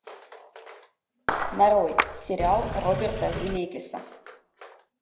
нарой сериал роберта земекиса